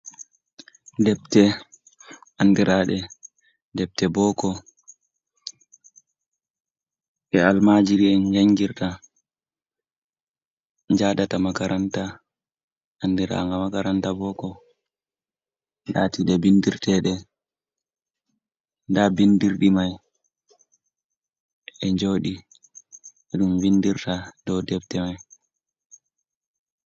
Debte, andiraɗe debte boko, ɗe almajiri'en en jangirta, njadata makaranta, andira nga makaranta boko. Lati ɗe bindirteɗe, nda bindirɗi mai ɗe e joɗi ɗum vindirta dau debte mai.